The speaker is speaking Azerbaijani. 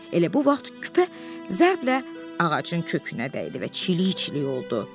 Elə bu vaxt küpə zərblə ağacın kökünə dəydi və çilik-çilik oldu.